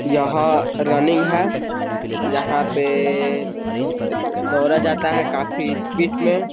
यहां रनिंग है यहां पे दौड़ा जाता है काफी स्पीड में।